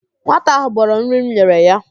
Nwata ahụ gbọrọ nri m nyere ya